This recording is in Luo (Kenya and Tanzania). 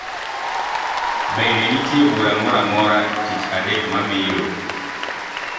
Bende nitiere bura moro amora tich adek mabiro.